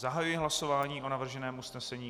Zahajuji hlasování o navrženém usnesení.